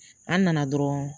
An nana dɔrɔn